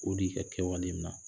O de ye i kɛwale min na